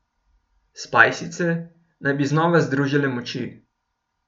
Spajsice naj bi znova združile moči.